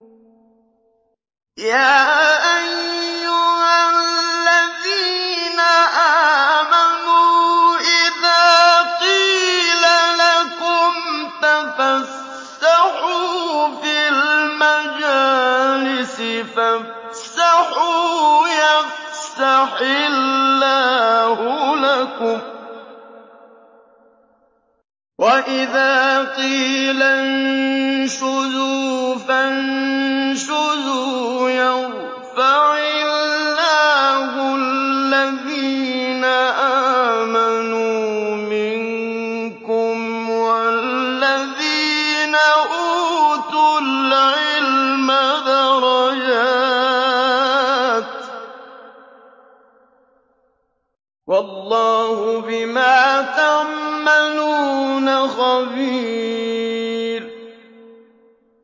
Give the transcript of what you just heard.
يَا أَيُّهَا الَّذِينَ آمَنُوا إِذَا قِيلَ لَكُمْ تَفَسَّحُوا فِي الْمَجَالِسِ فَافْسَحُوا يَفْسَحِ اللَّهُ لَكُمْ ۖ وَإِذَا قِيلَ انشُزُوا فَانشُزُوا يَرْفَعِ اللَّهُ الَّذِينَ آمَنُوا مِنكُمْ وَالَّذِينَ أُوتُوا الْعِلْمَ دَرَجَاتٍ ۚ وَاللَّهُ بِمَا تَعْمَلُونَ خَبِيرٌ